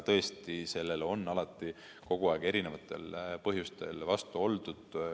Tõesti, sellele on alati, kogu aeg erinevatel põhjustel vastu oldud.